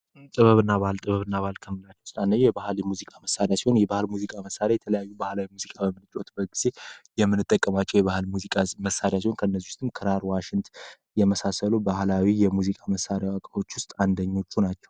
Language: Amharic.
ጥበብና ባል ጥበብና ባልከን የባህል ሙዚቃ መሣሪያ ሙዚቃ መሳሪያ የተለያዩ ባህላዊ ሙዚቃ የምንጠቀማቸው የባህል ሙዚቃ መሳሪያ ከነዚህም ክራር፣ ዋሽንት የመሳሰሉ ባህላዊ የሙዚቃ መሳሪያዎች ውስጥ አንደኞቹ ናቸው ።